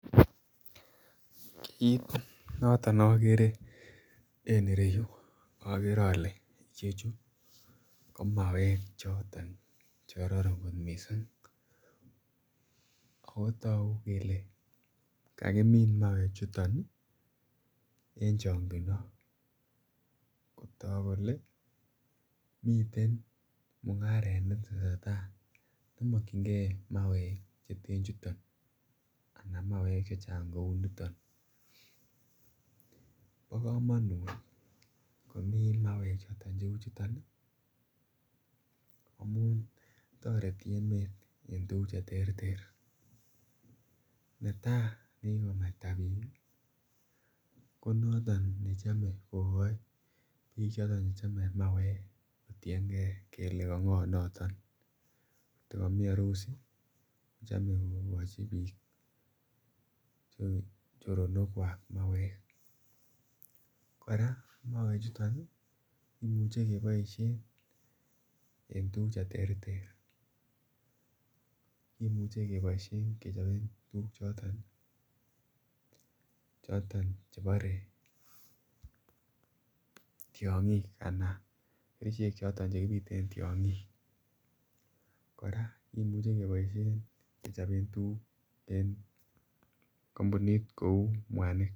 Kit noton nogeree en ireyu ogere ole chechu ko mawek choton che kororon kot missing ako toku kelee kakimin mawee chuton en chokindo kotok kolee miten mungaret netesetai ne mokyigee mawek cheten chuton ana mawek chechang kouu niton. Bo komonut komii mawek choton che uu chuton ii amun toreti emet en tuguk che terter netaa nekikonaita biik ko noton nemoche kogoi bik che chome mawek kotiengee kolee ko ngoo noton koti komii orusi kochome kogochi biik choronokwak mawek. Koraa mawek chuton kimuche keboishen en tuguk che terter kimuche keboishen kechoben tuguk choton chebore chebore tyongik anan kerichek choton che kipiten tyogik, koraa kimuche keboishen kechoben tugug en kompunit kouu mwanik